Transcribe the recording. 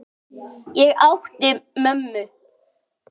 Ég átti mömmu.